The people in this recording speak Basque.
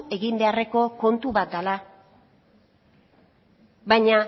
egin beharreko kontu bat dela baina